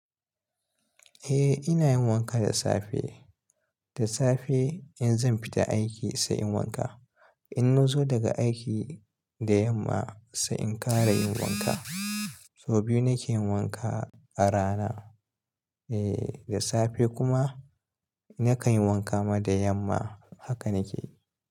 Eh ina yin wanka da safe, da safe in zan fita aiki sai inyi wanka. In nazo daga aiki da yamma sai in kara yin wanka. Sau biyu nake yin wanka a rana, eh da safe kuma nakan yi wanka ma da yamma. Haka nike.